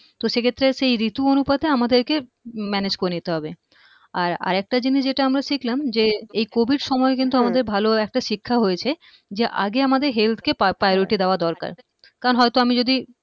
তো সেই ক্ষেত্রে সেই ঋতু অনুপাতে আমাদেরকে manage করে নিতে হবে আর আরেকটা জিনিস যেটা আমরা শিখলাম যে এই Covid সময়ে কিন্তু আমাদের ভালো একটা শিক্ষা হয়েছে যে আগে আমাদের health কে priority দেয়া দরকার কারণ হয়ত আমি যদি